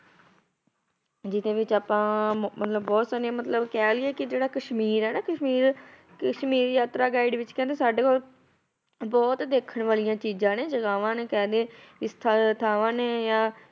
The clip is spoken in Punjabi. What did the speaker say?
ਜਿਹਦੇ ਵਿੱਚ ਆਪਾਂ ਮ~ ਮਤਲਬ ਬਹੁਤ ਸਾਰੀਆਂ ਮਤਲਬ ਕਹਿ ਲਈਏ ਕਿ ਜਿਹੜਾ ਕਸ਼ਮੀਰ ਹੈ ਨਾ ਕਸ਼ਮੀਰ ਕਸ਼ਮੀਰ ਯਾਤਰਾ guide ਵਿੱਚ ਕਹਿੰਦੇ ਸਾਡੇ ਕੋਲ ਬਹੁਤ ਦੇਖਣ ਵਾਲੀਆਂ ਚੀਜ਼ਾਂ ਨੇ ਜਗ੍ਹਾਵਾਂ ਨੇ ਕਹਿ ਦੇਈਏ ਥਾਵਾਂ ਨੇ ਜਾਂ